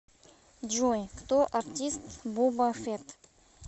джой кто артист боба фетт